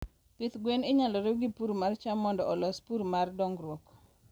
pith gwen inyalo riw gi purr mar cham mondo olos purr mar dongruok